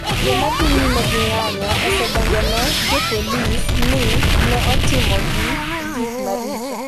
Joma odhi nyime gi ng’anjo osedonjone jopolisi ni ne otimogi gik maricho.